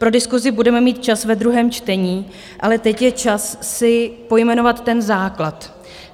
Pro diskusi budeme mít čas ve druhém čtení, ale teď je čas si pojmenovat ten základ.